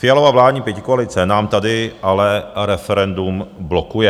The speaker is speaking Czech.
Fialova vládní pětikoalice nám tady ale referendum blokuje.